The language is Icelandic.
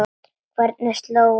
Hvergi er slóð að sjá.